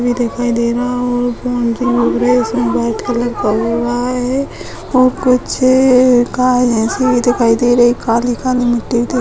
भी दिखाई दे रहा है और मुझे लग रहा है इसमें बहुत कलर कउवा है और कुछ का ऐसे ही दिखाई दे रही है काली-काली मिट्टी दिख --